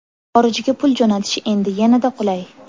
Xorijga pul jo‘natish endi yanada qulay!.